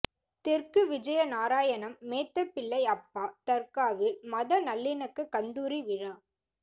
தெற்கு விஜயநாராயணம் மேத்தபிள்ளை அப்பா தர்காவில் மத நல்லிணக்க கந்தூரி விழா